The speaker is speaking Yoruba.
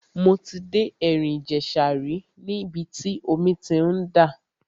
Mo ti dé ẹ̀rìn ìjẹ̀ṣà rí níbi tí omi ti ń dà.